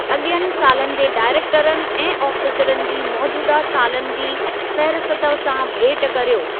अॻियनि सालनि जे डायरेकटरनि ऐं आफ़ीसरनि जी मोजूदह सालनि जी फ़ेहरिस्त सां भेट करियो।